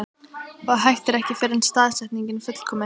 Og hættir ekki fyrr en staðsetningin er fullkomin.